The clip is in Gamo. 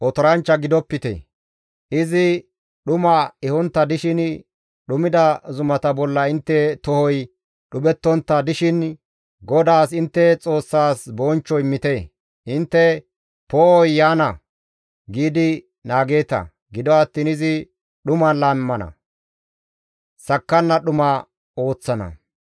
Izi dhuma ehontta dishin dhumida zumata bolla intte tohoy dhuphettontta dishin GODAAS intte Xoossas bonchcho immite; Intte, «Poo7oy yaana» giidi naageeta; gido attiin izi dhuman laammana; sakkanna dhuma ooththana.